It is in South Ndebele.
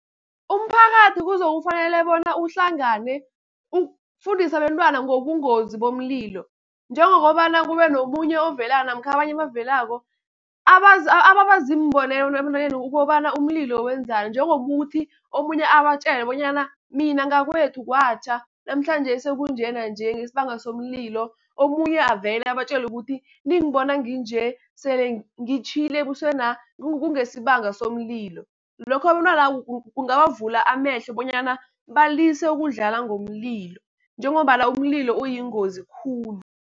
Umphakathi kuzokufanele bona uhlangane, ukufundisa abentwana ngobungozi bomlilo. Njengokobana kube nomunye ovela namkha abanye abavelako, ababa ziimbonelelo ebantwaneni ukobana umlilo wenzani. Njengokuthi omunye abatjele bonyana, mina ngakwethu kwatjha namhlanje sekunje nanje ngesibanga somlilo. Omunye avele abatjele ukuthi ningibona nginje sele ngitjhile ebuswena kungesibanga somlilo. Lokho abentwana kungabavula amehlo bonyana balise ukudlala ngomlilo, njengombana umlilo uyingozi khulu.